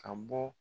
Ka bɔ